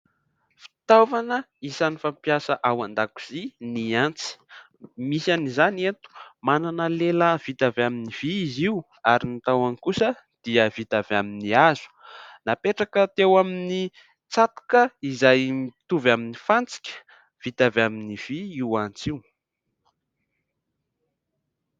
Fitaovana isany fampiasa ao an-dakozia ny antsy misy any izany eto : manana lela vita avy amin'ny vy izy io ary ny tahony kosa dia vita avy amin'ny hazo, napetraka teo amin'ny tsatoka izay mitovy amin'ny fantsika vita avy amin'ny vy io antsy io.